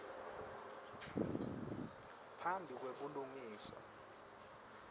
phambi kwe bulungisa